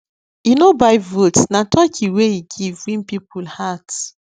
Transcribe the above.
e no buy votes na turkey wey e give win people heart